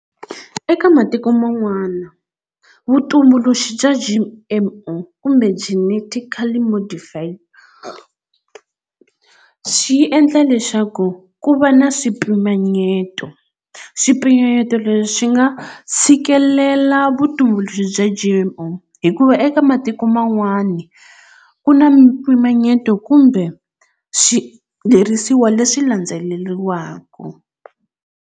Eka matiko man'wana vutumbuluxi bya G_M_O kumbe Genetically Modified swi endla leswaku ku va na swipimanyeto swipimanyeto leswi swi nga tshikelela vutumbuluxi bya G_M_O hikuva eka matiko man'wana ku na mpimanyeto kumbe leswi landzeleriwaka.